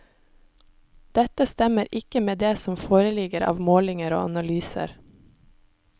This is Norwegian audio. Dette stemmer ikke med det som foreligger av målinger og analyser.